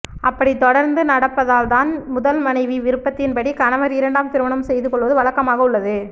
அப்படி தொடர்ந்து நடப்பதால் தான் முதல் மனைவி விருப்பத்தின் படி கணவர் இரண்டாம் திருமணம் செய்து கொள்வது வழக்கமாக உள்ளது